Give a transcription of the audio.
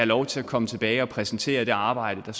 lov til at komme tilbage og præsentere det arbejde der